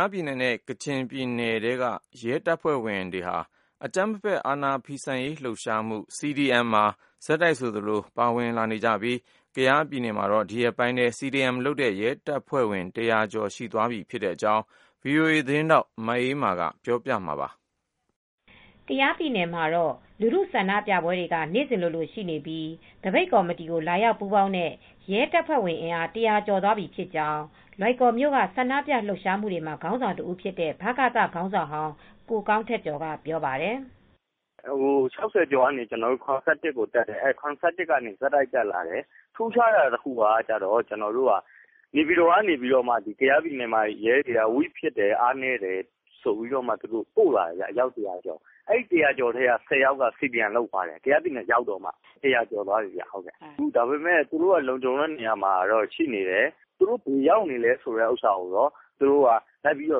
ားပြည်နယ်နဲ့ ကချင်ပြည်နယ်တွေက ရဲတပ်ဖွဲ့ဝင်တွေဟာ အကြမ်းမဖက် အာဏာဖီဆန်ရေး လှုပ်ရှားမှု (CDM) လှုပ်ရှားမူတွေမှာ ဆက်တိုက်ပါဝင်လာရာမှာ ကယားပြည်နယ်မှာတော့ ဒီရက်ပိုင်းအတွင်း CDMလုပ်တဲ့ ရဲတပ်ဖွဲ့ဝင် ၁၀၀ကျော်သွားပြီ ဖြစ်ပါတယ်။ ဒီသတင်းကို မအေးအေးမာက ပြောပြပေးမှာပါ။ ကယားပြည်နယ်မှာတော့ လူထုဆန္ဒပြပွဲတွေက နေစဉ်ရှိနေပြီး သပိတ်ကော်မတီကို လာရောက်ပူးပေါင်းတဲ့ ရဲတပ်ဖွဲ့ဝင်အင်အား ၁၀၀ကျော်သွားပြီ ဖြစ်ကြောင်း လွိုင်ကော်မြို့ကဆန္ဒပြလှုပ်ရှားမူတွေမှာခေါင်းဆောင်တဦးဖြစ်တဲ့ ဗကသခေါင်းဆောင်ဟောင်း ကိုကောင်းထက်ကျော်ကပြောပါတယ်။ “ ၆၀ကျော်ကနေ ၇၁ဦး ထိတက်လာတယ် ၇၁ဦးကနေ အခုဆိုရင် ဆက်တိုက်တက်လာတယ်။ ထူးခြားတာတခုက နေပြည်တော်က ကယားပြည်နယ်ထဲက ရဲတွေက အားနည်းတယ်ဆိုပြီးလူ ၁၀၀ကျော်ပို့ လာတယ်။ အဲဒီ ၁၀၀ကျော်ထဲက၁၀ယောက်ကလည်း CDM လုပ်သွားတယ် ကယားပြည်နယ်ရောက်မှလုပ်သွားတာ။ အခု ၁၀၀ကျော်ဖြစ်သွားပြီဒါပေမဲ့ သူတို့က လုံခြုံတဲ့နေရာမှာရှိနေတယ် သူတို့ ဘယ်ရောက်နေလဲဆိုတာ သူတို့က လိုက်လံ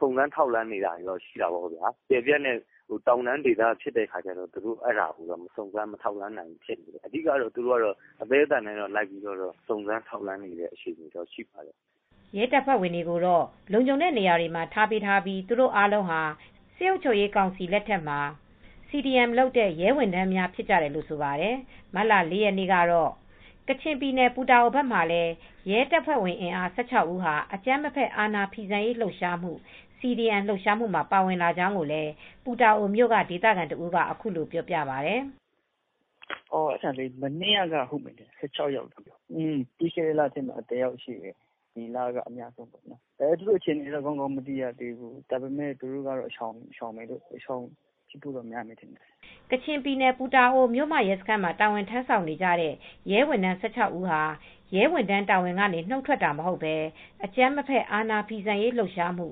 စုံစမ်းနေတယ်။ တောင်တန်းဒေသဖြစ်တော့ ဘယ်နေရာမှာလဲဆိုတာစုံစမ်းဖို့တော့ ခက်နေတယ် အသည်းအသန်တော့ သူတို့ ဘက်ကလိုက် စုံစမ်းထောက်လှမ်းနေပါတယ်။” ရဲတပ်ဖွဲ့ဝင်တွေကိုတော့ လုံခြုံတဲ့နေရာတွေမှာ ထားပေးထားပြီး သူတို့အားလုံးဟာ စစ်အုပ်ချုပ်ရေးကောင်စီလက်ထက်မှာ CDM လုပ်တဲ့ ရဲဝန်ထမ်းများဖြစ်ကြတယ်လို့ ဆိုပါတယ်။ မတ်လ ၄ရက်နေ့ကတော့ ကချင်ပြည်နယ် ပူတာအိုဘက်မှာလည်း ရဲတပ်ဖွဲ့ဝင်အင်အား ၁၆ဦးဟာ အကြမ်းမဖက် အာဏာဖီဆန်ရေးလှုပ်ရှားမှု (CDM) လှုပ်ရှားမူမှာ ပါဝင်လာကြောင်းကိုလည်း ပူတာအိုမြို့ ကဒေသခံတဦးကအခုလိုပြောပြပါတယ်။ “မနေ့ ကတော့ ၁၆ ယောက် ပြီးခဲ့တဲ့ လထဲကတော့ တယောက် ရှိပါတယ်။ ဒီလထဲမှာတော့ အများဆုံးပဲ သူတို့ အခြေအနေတော့ သေချာမသိရသေးဘူး ဒါပေမဲ့ သူတို့က တိမ်းရှောင်နေရတဲ့အခြေအနေတော့ရှိပါတယ်။” ကချင်ပြည်နယ်၊ ပူတာအိုမြို့မရဲစခန်းမှာ တာဝန်ထမ်းဆောင်နေကြတဲ့ရဲဝန်ထမ်း၁၆ ဦးဟာရဲဝန်ထမ်းတာဝန်ကနေ နုတ်ထွက်တာမဟုတ်ပဲအကြမ်းမဖက် အာဏာဖီဆန်ရေးလှုပ်ရှားမှု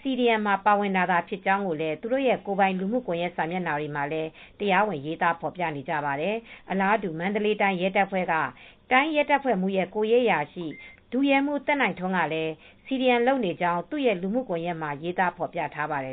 (CDM)မှာပါဝင်တာသာဖြစ်ကြောင်း ကိုလည်းသူတို့ ရဲ့ကိုယ်ပိုင်လူမူကွန်ယက်စာမျက်နှာတွေကလည်း တရားဝင်ရေးသားဖော်ပြကြပါတယ်။ အလားတူ မန္တလေးတိုင်းရဲတပ်ဖွဲ့က တိုင်းရဲတပ်ဖွဲ့မှူးရဲ့ ကိုယ်ရေးအရာရှိ ဒုရဲမှူး သက်နိုင်ထွန်းကလည်းCDM လုပ်နေကြောင်း သူ့ရဲ့လူမှုကွန်ယက်မှာရေးသားဖော်ပြထားပါတယ်